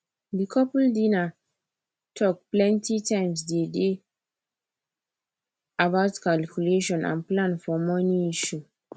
di couple dinner talk plenti times di dey about calculation and plan for money issue